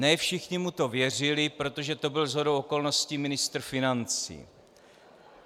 Ne všichni mu to věřili, protože to byl shodou okolností ministr financí.